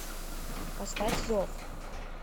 поставь зов